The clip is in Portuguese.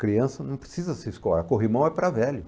Criança não precisa se escorar, corrimão é para velho.